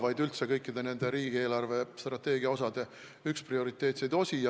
See on tõepoolest riigi eelarvestrateegia üks prioriteetseid osi.